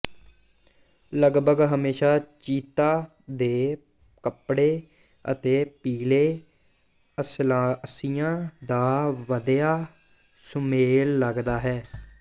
ਲਗਭਗ ਹਮੇਸ਼ਾ ਚੀਤਾ ਦੇ ਕੱਪੜੇ ਅਤੇ ਪੀਲੇ ਅਸਲਾਸਿਆਂ ਦਾ ਵਧੀਆ ਸੁਮੇਲ ਲਗਦਾ ਹੈ